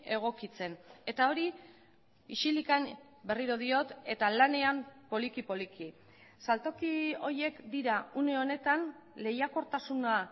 egokitzen eta hori isilik berriro diot eta lanean poliki poliki saltoki horiek dira une honetan lehiakortasuna